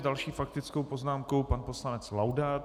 S další faktickou poznámkou pan poslanec Laudát.